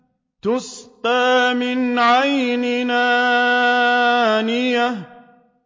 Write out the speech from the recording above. تُسْقَىٰ مِنْ عَيْنٍ آنِيَةٍ